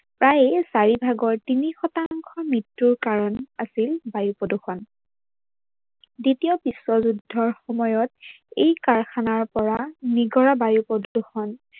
প্ৰায় চাৰি ভাগৰ তিনি শতাংশ মৃত্যুৰ কাৰন আছিল বায়ুপ্ৰদূৰ্ষন। দ্বিতীয় বিশ্বযুদ্ধৰ সময়ত এই কাৰখানাৰ পৰা নিগৰা বায়ুপ্ৰদূৰ্ষন